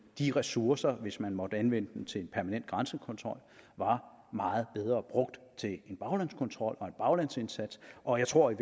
de ressourcer hvis man måtte anvende dem til en permanent grænsekontrol var meget bedre brugt til en baglandskontrol og en baglandsindsats og jeg tror i